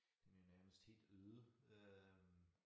Den er jo nærmest helt øde øh